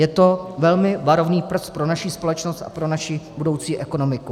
Je to velmi varovný prst pro naši společnost a pro naši budoucí ekonomiku.